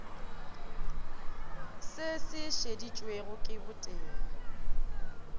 se se šeditšwego ke botee